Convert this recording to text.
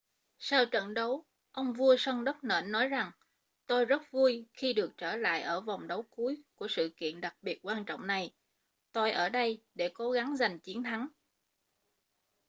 sau trận đấu ông vua sân đất nện nói rằng tôi rất vui khi được trở lại ở vòng đấu cuối của sự kiện đặc biệt quan trọng này tôi ở đây để cố gắng giành chiến thắng